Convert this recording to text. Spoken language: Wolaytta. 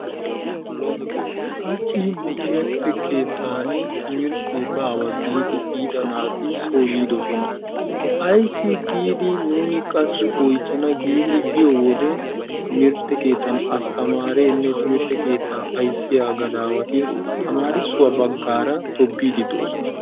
Haachchi nu timirtte keettaan timirttee baawa giidi biida naati coo yiidoosona. Ayssi giidi nuuni qassi oychchana giidi biyoode timirtte keettaan astamareenne timirtte keettaa ayssiyaa gadawati tamarissuwaa baggaara toobbiidi doosona.